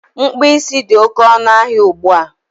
Mkpụ isi dị oké ọnụ ahịa ugbua